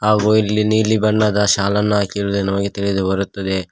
ಹಾಗೂ ಇಲ್ಲಿ ನೀಲಿ ಬಣ್ಣದ ಶಾಲನ್ನು ಹಾಕಿರುವುದು ನಮಗೆ ತಿಳಿದು ಬರುತ್ತದೆ.